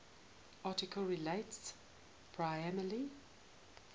article relates primarily